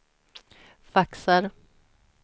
faxar